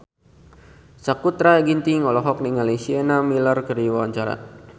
Sakutra Ginting olohok ningali Sienna Miller keur diwawancara